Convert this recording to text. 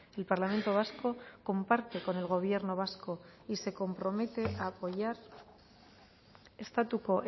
el parlamento vasco comparte con el gobierno vasco y se compromete a apoyar estatuko